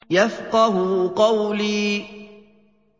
يَفْقَهُوا قَوْلِي